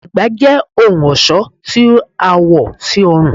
Ègbá jẹ ohun ọṣọ tí a wò sí ọrun